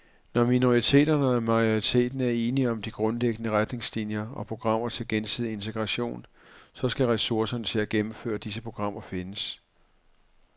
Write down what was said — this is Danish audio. Når minoriteterne og majoriteten er enige om de grundlæggende retningslinier og programmer til gensidig integration, så skal ressourcerne til at gennemføre disse programmer findes.